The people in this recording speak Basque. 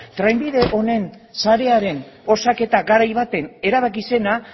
trenbide honen sarearen osaketa garai baten erabaki zena